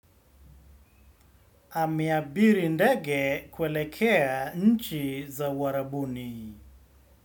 Ameabiri ndege kuelekea nchi za uarabuni.